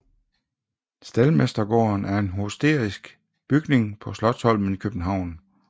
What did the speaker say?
Staldmestergården er en historisk bygning på Slotsholmen i København